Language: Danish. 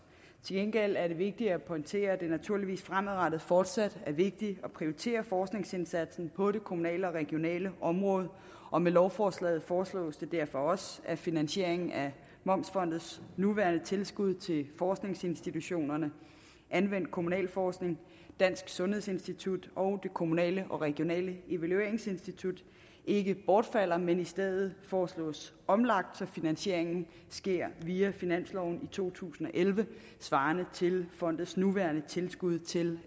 gengæld er det vigtigt at pointere at det naturligvis fremadrettet fortsat er vigtigt at prioritere forskningsindsatsen på det kommunale og regionale område og med lovforslaget foreslås det derfor også at finansieringen af momsfondets nuværende tilskud til forskningsinstitutionerne anvendt kommunal forskning dansk sundhedsinstitut og det kommunale og regionale evalueringsinstitut ikke bortfalder men i stedet foreslås omlagt så finansieringen sker via finansloven i to tusind og elleve svarende til fondets nuværende tilskud til